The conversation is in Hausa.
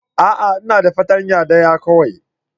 A'a! Ina da fartanya daya kawai.